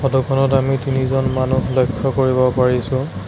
Photo খনত আমি তিনিজন মানুহ লক্ষ্য কৰিব পাৰিছো।